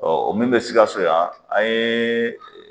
Ɔ o min be sikaso yan an yee